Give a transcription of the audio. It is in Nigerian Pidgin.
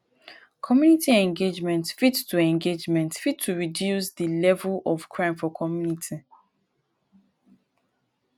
community engagement fit to engagement fit to reduce de level of crime for community